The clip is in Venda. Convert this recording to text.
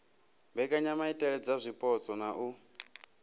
mbekanyamaitele dza zwipotso na u